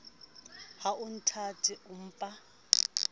ha o nthate o mpa